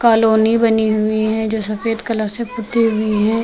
Colony बनी हुई है जो सफेद कलर से पुती हुई है।